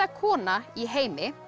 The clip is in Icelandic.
kona í heimi